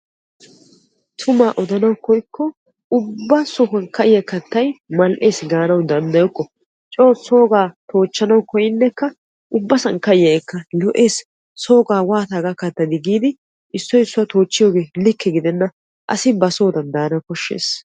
Tumaa odanawu koyikko ubba sohuwan ka'iya kattay mal"eesi gaanawu danddayokko. Coo soogaa toochchanawu koyinekka ubbasan ka'iyaageekka lo'ees soogaa waata hagaa kattadi giidi isssoy issuwa toochchiyoge likke gidenna asi basoodan daana koshshees.